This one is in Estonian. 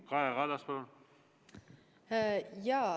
Kaja Kallas, palun!